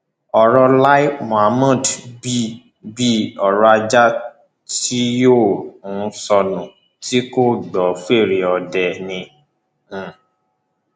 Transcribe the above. ọrọ lai mohammed bíi bíi ọrọ ajá tí yóò um sọnù tí kò ní í gbọ fẹre ọdẹ ni um